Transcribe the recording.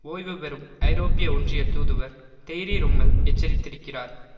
ஓய்வு பெறும் ஐரோப்பிய ஒன்றிய தூதுவர் தெய்ரி ரொம்மெல் எச்சரித்திருக்கிறார்